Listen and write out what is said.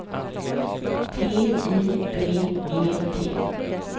T I B E T